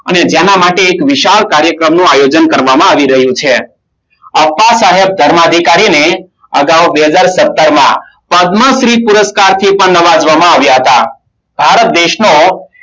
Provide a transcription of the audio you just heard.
અને જેના માટે એક વિશાળ કાર્યક્રમનું આયોજન કરવામાં આવી રહ્યું છે. અપ્પા સાહેબ ધર્માધિકારીને અગાઉ બે હજાર સત્તર માં પદ્મશ્રી પુરસ્કારથી પણ નવાજવામાં આવ્યા હતા. ભારત દેશનો